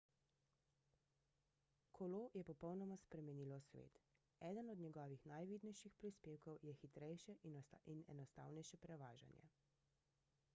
kolo je popolnoma spremenilo svet eden od njegovih najvidnejših prispevkov je hitrejše in enostavnejše prevažanje